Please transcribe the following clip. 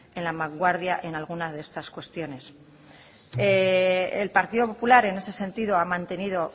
en la vanguardia en algunas de estas cuestiones el partido popular en ese sentido ha mantenido